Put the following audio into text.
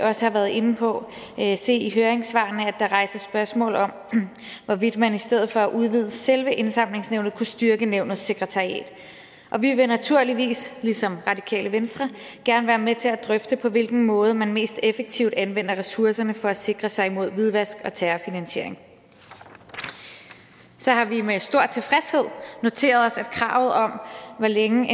også har været inde på se i høringssvarene at der rejses spørgsmål om hvorvidt man i stedet for at udvide selve indsamlingsnævnet kunne styrke nævnets sekretariat og vi vil naturligvis ligesom radikale venstre gerne være med til at drøfte på hvilken måde man mest effektivt anvender ressourcerne for at sikre sig imod hvidvask og terrorfinansiering så har vi med stor tilfredshed noteret os at kravet om hvor længe